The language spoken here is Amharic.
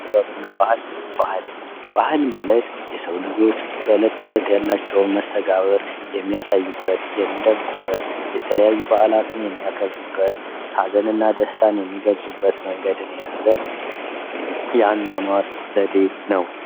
ጥበብ እና ባህል ባህል:- ባህል ማለት የሰዉ ልጆች በዕለት ተዕለት ያላቸዉን መስተጋብር የሚያሳዩበት የሚደምቁበት ሀዘን እና ደስታን የያዘ የአኗኗር ዘዴ ነዉ።